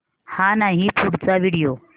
हा नाही पुढचा व्हिडिओ